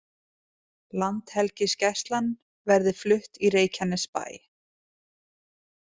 Landhelgisgæslan verði flutt í Reykjanesbæ